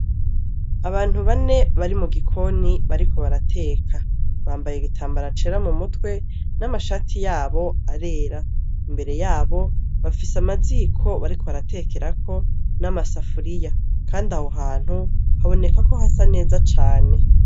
Abntu bane bari mu gikoni bariko barateka bambaye igitambara cera mu mutwe n'amashati yabo arera imbere yabo bafise amaziko bariko baratekerako n'amasafuriya kandi aho hantu haboneka ko hasa neza cane.